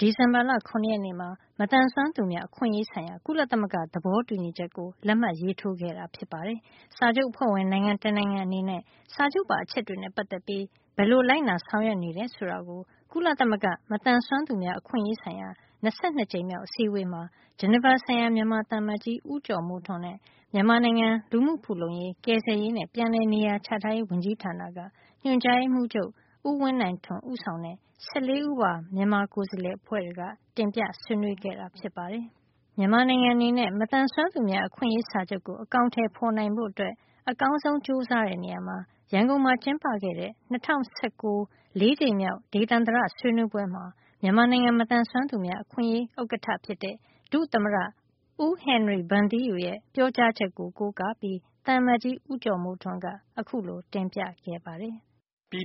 ဒီဇင်ဘာလ ၇ ရက်နေ့မှာ မသန်စွမ်းသူများ အခွင့်ရေးဆိုင်ရာ ကုလသမဂ္ဂ သဘောတူညီချက်ကို လက်မှတ်ရေးထိုးခဲ့တာ ဖြစ်ပါတယ်။ စာချုပ်အဖွဲ့ဝင် နိုင်ငံတနိုင်ငံအနေနဲ့ စာချုပ်ပါ အချက်တွေနဲ့ ပတ်သက်ပြီး ဘယ်လိုလိုက်နာ ဆောင်ရွက်နေတယ်ဆိုတာကို ကုလသမဂ္ဂ မသန်စွမ်းသူများအခွင့်ရေးဆိုင်ရာ ၂၂ ကြိမ်မြောက် အစည်းဝေးမှာ ဂျနီဗာဆိုင်ရာ မြန်မာသံအမတ်ကြီး ဦးကျော်မိုးထွန်းနဲ့ မြန်မာနိုင်ငံ လူမှုဖူလုံရေး၊ ကယ်ဆယ်ရေးနဲ့ ပြန်လည်နေရာချထားရေး ဝန်ကြီးဌာနက ညွှန်ကြားရေးမှူးချုပ် ဦးဝင်းနိုင်ထွန်း ဦးဆောင်တဲ့ ၁၄ ဦးပါ မြန်မာ ကိုယ်စားလှယ်တွေက တင်ပြဆွေးနွေးခဲ့တာ ဖြစ်ပါတယ်။ မြန်မာနိုင်ငံအနေနဲ့ မသန်စွမ်းသူများ အခွင့်ရေး စာချုပ်ကို အကောင်ထည်ဖေါ်နိုင်ဖို့ အကောင်းဆုံး ကြိုးစားတဲ့ နေရာမှာ ရန်ကုန်မှာ ကျင်းပခဲ့တဲ့ ၂၀၁၉ - ၄ ကြိမ်မြောက် ဒေသန္တရဆွေးနွေးပွဲမှာ မြန်မာနိုင်ငံ မသန်စွမ်းသူများအခွင့်ရေး ဥက္ကဌဖြစ်တဲ့ ဒုသမ္မတ ဦးဟင်နရီ ဗန်သီးယူ ရဲ့ ပြောကြားချက်ကို ကိုးကားပြီး သံအမတ်ကြီး ဦးကျော်မိုးထွန်းက အခုလို တင်ပြခဲ့ပါတယ်။ “မြန်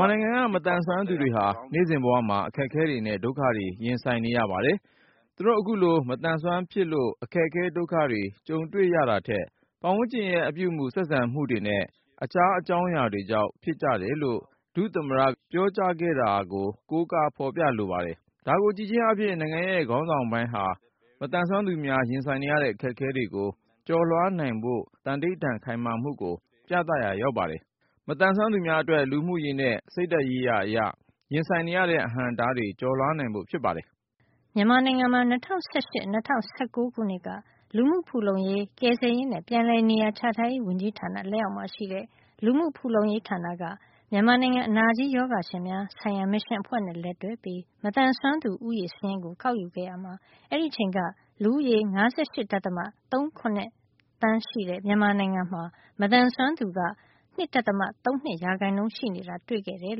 မာနိုင်ငံက မသန်စွမ်းသူတွေဟာ နေ့စဉ်ဘဝမှာ အခက်အခဲတွေနဲ့ ဒုက္ခတွေ ရင်ဆိုင်နေရပါတယ်။ သူတို့ အခုလို မသန်စွမ်းဖြစ်လို့ အခက်အခဲ ဒုက္ခတွေ ကြုံတွေ့ရတာထက် ပတ်ဝန်းကျင်ရဲ့ အပြုအမူ၊ ဆက်ဆံမှုတွေနဲ့ တခြားအကြောင်းအရာတွေကြောင့် ဖြစ်ကြတယ်လို့ ဒုတိယ သမ္မတက ပြောကြားခဲ့ တာကို ကိုးကား ဖော်ပြလိုပါတယ်။ ဒါကို ကြည့်ခြင်းအားဖြင့် နိုင်ငံ့ရဲ့ခေါင်းဆောင်ပိုင်းဟာ မသန်စွမ်းသူများ ရင်ဆိုင်နေရတဲ့ အခက်အခဲတွေကို ကျော်လွှားနိုင်ဖို့ နိုင်ငံ့ခေါင်းဆောင်ပိုင်းရဲ့ သန္နိဋ္ဌာန် ခိုင်မာမှုကို ပြသရာရောက်ပါတယ်။ မသန်စွမ်းသူများအတွက် လူမှုရေးနဲ့ စိတ်ဓာတ်ရေးရာအရ ရင်ဆိုင်နေရတဲ့ အဟန့်အတားတွေ ကျော်လွှားနိုင်ဖို့ ဖြစ်ပါတယ်။” မြန်မာနိုင်ငံမှာ ၂၀၁၈ - ၂၀၁၉ ခုနှစ်က လူမှုဖူလုံရေး၊ ကယ်ဆယ်ရေးနဲ့ ပြန်လည်နေရာချထားရေး ဝန်ကြီးဌာနလက်အောက်မှာ ရှိတဲ့ လူမှုဖူလုံရေးဌာနက မြန်မာနိုင်ငံ အနာကြီးရောဂါရှင်များ ဆိုင်ရာမစ်ရှင်အဖွဲ့နဲ့ လက်တွဲပြီး မသန်စွမ်းသူဦးရေ စာရင်းကို ကောက်ယူခဲ့ရာမှာ အဲဒီအချိန်က လူဦးရေ ၅၈.၃၇ သန်း ရှိတဲ့ မြန်မာနိုင်ငံမှာ မသန်စွမ်းသူက ၂.၃၂ % ရှိနေတာ တွေ့ခဲ့ရတယ်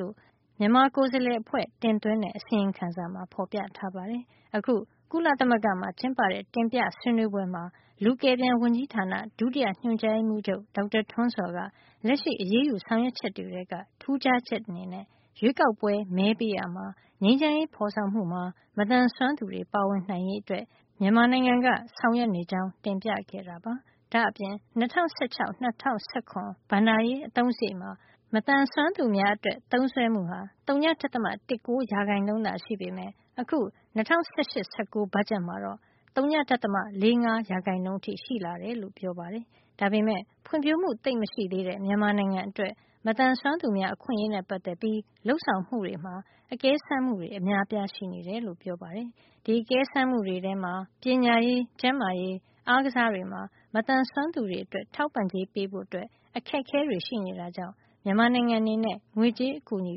လို့ မြန်မာကိုယ်စားလှယ်အဖွဲ့ တင်သွင်းတဲ့ အစီရင်ခံစာမှာ ဖေါ်ပြထားပါတယ်။ အခု ကုလသမဂ္ဂမှာ ကျင်းပတဲ့ တင်ပြဆွေးနွေးပွဲမှာ လူကယ်ပြန် ဝန်ကြီးဌာန ဒုတိယညွှန်ကြားရေးမှူးချုပ် ဒေါက်တာထွန်းဇော်က လက်ရှိ အရေးယူဆောက်ရွက်ချက် တွေထဲက ထူးခြားချက်အနေနဲ့ ရွေးကောက်ပွဲ မဲပေးရာမှာနဲ့ ငြိမ်းချမ်းရေး ဖေါ်ဆောင်မှုမှာ မသန်စွမ်းသူများ ပါဝင်နိုင်ရေးအတွက် မြန်မာနိုင်ငံက ဆောင်ရွက်နေကြောင်း တင်ပြခဲ့တာပါ။ ဒါ့အပြင် ၂၀၁၆ - ၁၇ ဘဏ္ဍာရေး အသုံးစားရိတ်မှာ မသန်စွမ်းသူများအတွက် သုံးစွဲမှုဟာ ဝ.၁၉ % သာရှိပေမယ့် အခု ၂၀၁၈ - ၁၉ ဘတ်ဂျက်မှာတော့ ဝ.၄၅ % အထိ ရှိလာတယ်လို့ ပြောပါတယ်။ ဒါပေမယ့် ဖွံ့ဖြိုးမှုသိပ်မရှိသေးတဲ့ မြန်မာနိုင်ငံ အတွက် မသန်စွမ်းသူများ အခွင့်ရေးနဲ့ ပတ်သက်ပြီး လုပ်ဆောင်မှုတွေမှာ အကဲစမ်းမှုတွေ အများအပြား ရှိနေတယ်လို့ ပြောပါတယ်။ ဒီအကဲစမ်းမှုတွေ ထဲမှာ ပညာရေး၊ ကျန်းမာရေး၊ အားကစား တွေမှာ မသန်စွမ်းသူတွေ အတွက် ထောက်ပံ့ကြေး ပေးဖို့ အခက်အခဲတွေ ရှိနေတာကြောင့် မြန်မာနိုင်ငံအနေနဲ့ ငွေကြေးအကူအညီ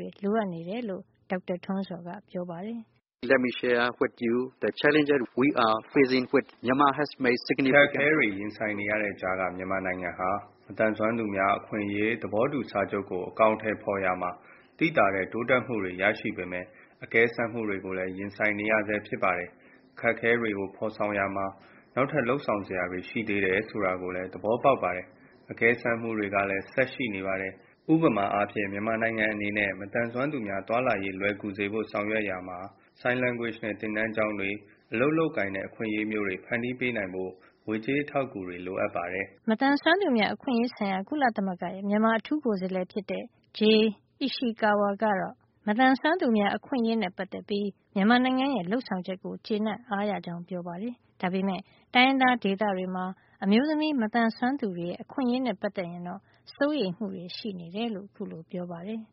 တွေ လိုအပ်နေတယ်လို့ ဒေါက်တာထွန်းဇော်က ပြောပါတယ်။ “အခက်အခဲတွေ ရင်ဆိုင်နေရတဲ့ကြားက မြန်မာနိုင်ငံဟာ မသန်စွမ်းသူများ အခွင့်အရေး သဘောတူစာချုပ်ကို အကောင်အထည်ဖော်ရာမှာ သိသာတဲ့တိုးတက်မှုတွေ ရရှိပေမယ့်အကဲစမ်းမှုတွေကိုလည်း ရင်ဆိုင်နေရဆဲဖြစ်ပါတယ်။ အခက်အခဲတွေကို ဖော်ဆောင်ရာမှာ နောက်ထပ် လုပ်ဆောင်စရာတွေ ရှိသေးတယ်ဆိုတာကို သဘောပေါက်ပါတယ်။ အကဲစမ်းမှုတွေကလည်း ဆက်ရှိနေပါတယ်။ ဥပမာအားဖြင့် မြန်မာနိုင်ငံ အနေနဲ့ မသန်စွမ်းသူများ သွားလာရေး လွယ်ကူစေဖို့ ဆောင်ရွက်ရာမှာနဲ့ sign language သင်တန်းကျောင်းတွေ၊ အလုပ်လုပ်ကိုင်တဲ့ အခွင့်အရေးမျိုးတွေ ဖန်တီးပေးနိုင်ဖို့ ငွေကြေး အထောက်အကူတွေ လိုအပ်ပါတယ်။” မသန်စွမ်းသူများ အခွင့်ရေးဆိုင်ရာ ကုလသမဂ္ဂရဲ့ မြန်မာနိုင်ငံ ဆိုင်ရာ အထူးကိုယ်စားလှယ် ဖြစ်တဲ့ J. Ishikawa ကတော့ မသန်စွမ်းသူများ အခွင့်ရေးနဲ့ ပတ်သက်ပြီး မြန်မာနိုင်ငံရဲ့ လုပ်ဆောင်ချက်တွေကို ကျေနပ်အားရကြောင်း ပြောပါတယ်။ ဒါပေမယ့် တိုင်းရင်းသား ဒေသတွေမှာ အမျိုးသမီး မသန်စွမ်း သူတွေ ရဲ့ အခွင့်ရေးနဲ့ ပတ်သက်ရင်တော့ စိုးရိမ်မှုတွေ ရှိတယ်လို့ ပြောပါတယ်။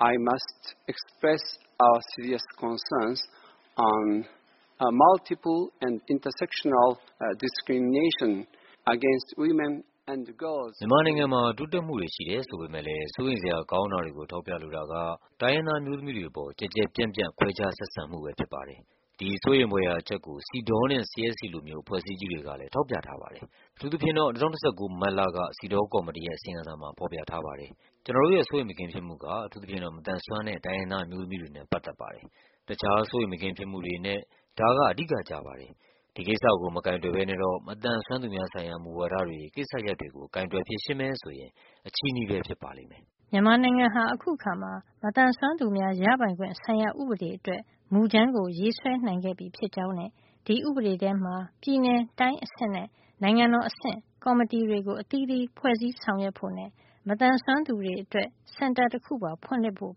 “မြန်မာနိုင်ငံမှာ တိုးတက်မှုတွေရှိတယ်ဆိုပေမယ့်လည်း စိုးရိမ်စရာကောင်းတာတွေကို ထောက်ပြလိုတာက - တိုင်းရင်းသားအမျိုးသမီးတွေ အပေါ် ကျယ်ကျယ်ပြန့်ပြန့် ခွဲခြားဆက်ဆံမှုပဲ ဖြစ်ပါတယ်။ ဒီစိုးရိမ်ဖွယ်ရာ အချက်ကို CEDAW နဲ့ CSC လိုမျိုး အဖွဲ့အစည်းကြီးတွေကလည်း ထောက်ပြခဲ့ပါတယ်။ အထူးသဖြင့် ၂၀၁၉ မတ်လက စီဒေါ ကော်မတီရဲ့ အစီရင်ခံစာမှာ ဖော်ပြထားပါတယ်။ ကျနော်တို့ရဲ့ စိုးရိမ်မကင်း ဖြစ်မှုက အထူးသဖြင့် မသန်စွမ်းတဲ့ တိုင်းရင်းသား အမျိုးသမီးတွေနဲ့ ပတ်သက်ပါတယ်။ တခြားစိုးရိမ်မကင်းဖြစ်မှုတွေအနက် ဒါက အဓိက ကျပါတယ်။ ဒီကိစ္စကို မကိုင်တွယ်ဘဲနဲ့ မသန်စွမ်းသူများဆိုင်ရာ မူဝါဒတွေ၊ ကိစ္စရပ်တွေကို ကိုင်တွယ် ဖြေရှင်းမယ်ဆိုရင် အချည်းနှီးပဲ ဖြစ်ပါလိမ့်မယ်။” မြန်မာနိုင်ငံဟာ အခုအခါ မသန်စွမ်းသူများရပိုင်ခွင့်ဆိုင်ရာ ဥပဒေအတွက် မူကြမ်းကို ရေးဆွဲနိုင်ခဲ့ပြီဖြစ်ကြောင်းနဲ့ ဒီဥပဒေထဲမှာ ပြည်နယ် တိုင်းအဆင့်နဲ့ နိုင်ငံတော်အဆင့် ကောင်မတီတွေ အသီးသီး ဖွဲ့စည်းဆောင်ရွက်ဖို့နဲ့ မသန်စွမ်းသူများအတွက် စင်တာတခုဖွင့်လှစ်ဖို့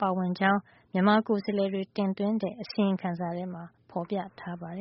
ပါ ပါဝင်ကြောင်း မြန်မာကိုယ်စားလှယ်တွေ တင်သွင်းတဲ့ အစီရင်ခံစာထဲမှာ ဖေါ်ပြထားပါတယ